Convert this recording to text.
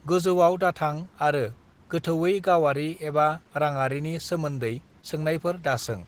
गोजौआव दाथां आरो गोथौयै गावारि एबा राङारिनि सोमोन्दै सोंनायफोर दासों।